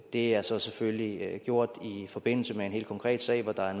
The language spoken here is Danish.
det er så selvfølgelig gjort i forbindelse med en helt konkret sag hvor der er